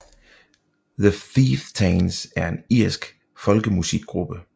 The Chieftains er en irsk folkemusikgruppe